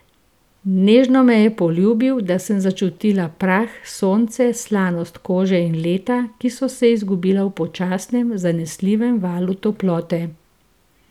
Nežno me je poljubil, da sem začutila prah, sonce, slanost kože in leta, ki so se izgubila v počasnem, zanesljivem valu toplote.